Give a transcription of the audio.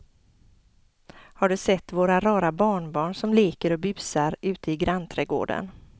Har du sett våra rara barnbarn som leker och busar ute i grannträdgården!